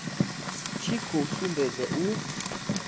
tshi khou sumbedza u